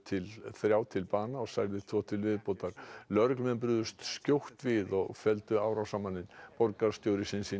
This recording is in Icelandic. þrjá til bana og særði tvo til viðbótar lögreglumenn brugðust skjótt við og felldu árásarmanninn borgarstjóri